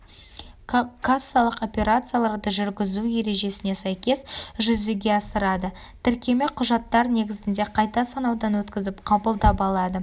кассалық операцияларды жүргізу ережесіне сәйкес жүзеге асырады тіркеме құжаттар негізінде қайта санаудан өткізіп қабылдап алады